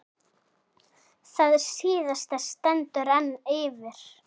Það síðasta stendur enn yfir.